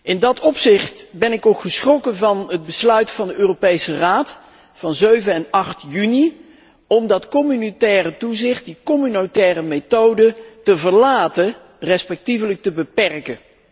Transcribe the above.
In dat opzicht ben ik ook geschrokken van het besluit van de Europese Raad van 7 en 8 juni om dat communautaire toezicht, die communautaire methode, te verlaten, respectievelijk te beperken.